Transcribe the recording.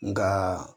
Nka